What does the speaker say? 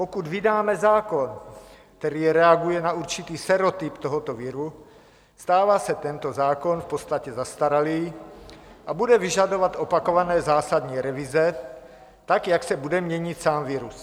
Pokud vydáme zákon, který reaguje na určitý sérotyp tohoto viru, stává se tento zákon v podstatě zastaralý a bude vyžadovat opakované zásadní revize, tak jak se bude měnit sám virus.